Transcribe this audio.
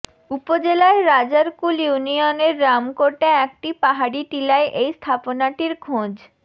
উপজেলার রাজারকুল ইউনিয়নের রামকোটে একটি পাহাড়ি টিলায় এই স্থাপনাটির খোঁজ